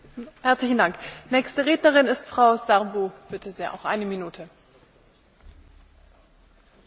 Transplantul și donarea de organe salvează și prelungesc viețile a mii de cetățeni europeni în fiecare an.